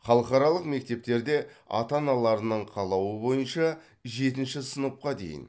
халықаралық мектептерде ата аналарының қалауы бойынша жетінші сыныпқа дейін